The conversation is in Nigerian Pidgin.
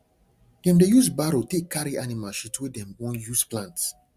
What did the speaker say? dem dey use barrow take carry animal shit wey dem wan use plant